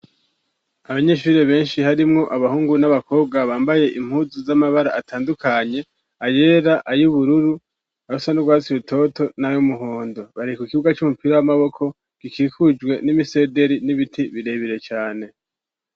Abanyishuri benshi harimwo abahungu n'abakobwa bambaye impuzu z'amabara atandukanye ayera ayoubururu abasa n'urwatsibitoto n'ayo umuhondo barika k ikibuwa c'umupira w'amaboko gikikujwe n'imisederi n'ibiti birebire cane.